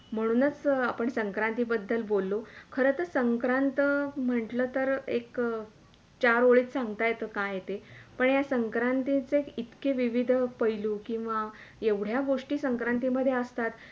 म्हणूनच आपण संक्रांती बद्दल बोललो खरच संक्रांत म्हटल तर एक चार ओळीत सांगता येतं काय आहे ते पण हे संक्रांतीचे इतके विविध पहिलू किंवा येवढ्या गोष्टी संक्रांतीमधे असतात